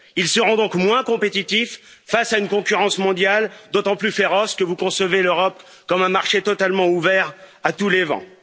Ils seront donc moins compétitifs face à une concurrence mondiale d'autant plus féroce que vous concevez l'Europe comme un marché totalement ouvert à tous les vents.